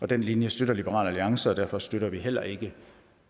den linje støtter liberal alliance og derfor støtter vi heller ikke